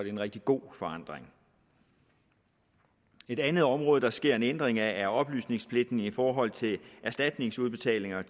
en rigtig god forandring et andet område hvor der sker en ændring er oplysningspligten i forhold til erstatningsudbetalinger